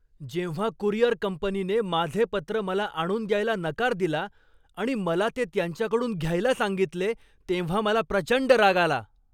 जेव्हा कुरिअर कंपनीने माझे पत्र मला आणून द्यायला नकार दिला आणि मला ते त्यांच्याकडून घ्यायला सांगितले तेव्हा मला प्रचंड राग आला.